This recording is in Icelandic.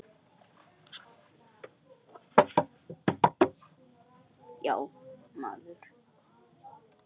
Já, maður ræktar sinn garð.